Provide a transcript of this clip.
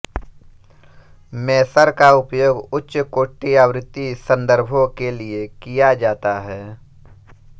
measure का उपयोग उच्च कोटि आवृति सन्दर्भों के लिए किया जाता है